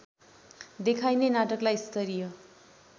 देखाइने नाटकलाई स्तरीय